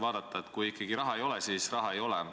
Ma arvan ka, et kui ikkagi raha ei ole, siis raha ei ole.